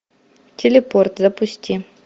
телепорт запусти